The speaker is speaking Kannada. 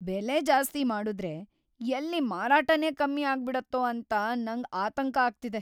ಬೆಲೆ ಜಾಸ್ತಿ ಮಾಡುದ್ರೆ ಎಲ್ಲಿ ಮಾರಾಟನೇ ಕಮ್ಮಿ ಆಗ್ಬಿಡತ್ತೋ ಅಂತ ನಂಗ್ ಆತಂಕ ಆಗ್ತಿದೆ.